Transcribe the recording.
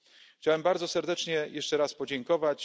Chciałbym bardzo serdecznie jeszcze raz podziękować.